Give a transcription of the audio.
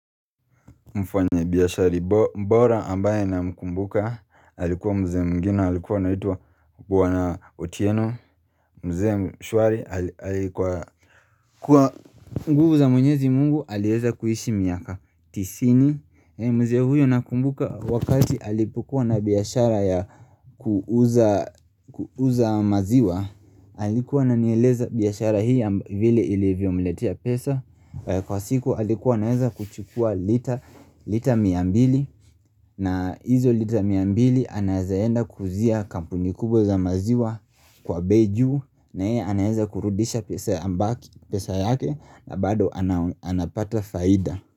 Mfanye biyashari bora ambaye na mkumbuka alikuwa mzee mwingine alikuwa anaitwa bwana otieno mzee mshuari alikuwa Kwa nguvu za mwenyezi mungu alieza kuishi miaka Tisini mzee huyo na kumbuka wakati alipokuwa na biashara ya kuuza maziwa alikuwa ana nieleza biyashara hii ya vile ilivyo mletea pesa Kwa siku alikuwa anaeza kuchukua lita lita miambili na hizo lita miambili anazaenda kuuzia kampuni kubwa za maziwa kwa bei juu na yeye anaeza kurudisha pesa yambaki pesa yake na bado anapata faida.